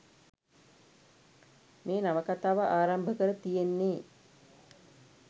මේ නවකතාව ආරම්භ කර තියෙන්නේ.